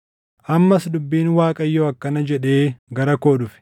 Ammas dubbiin Waaqayyoo akkana jedhee gara koo dhufe: